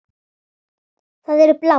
Þær eru bláar.